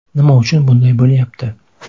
Nima uchun bunday bo‘lyapti?